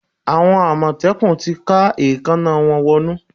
Àwọn àmọ̀tẹ́kùn ti ká èékáná wọn wọnnú.